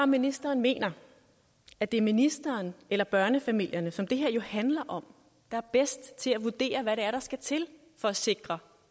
ministeren mener at det er ministeren eller børnefamilierne som det her jo handler om der er bedst til at vurdere hvad det er der skal til for at sikre